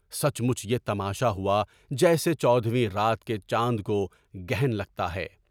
سچ مچ یہ تماشا ہوا جیسے چودھویں رات کے چاند کو گرہن لگتا ہے۔